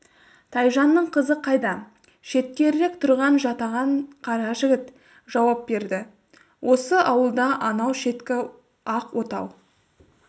тайжанның қызы қайда шеткерірек тұрған жатаған қара жігіт жауап берді осы ауылда анау шеткі ақ отау